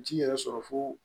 Ji yɛrɛ sɔrɔ fo